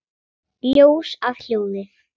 Ljós að hljóði?